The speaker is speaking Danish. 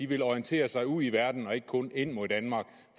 vil orientere sig ud i verden og ikke kun ind mod danmark